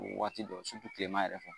Waati dɔ kilema yɛrɛ fɛ.